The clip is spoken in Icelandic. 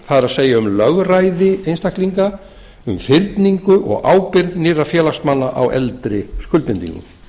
það er um lögræði einstaklinga um fyrningu og ábyrgð nýrra félagsmanna á eldri skuldbindingum